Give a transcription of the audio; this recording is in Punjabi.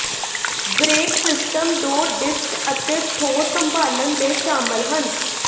ਬ੍ਰੇਕ ਸਿਸਟਮ ਦੋ ਡਿਸਕ ਅਤੇ ਠੋਸ ਸੰਭਾਲਣ ਦੇ ਸ਼ਾਮਲ ਹਨ